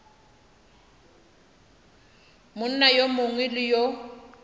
monna yo mongwe le yo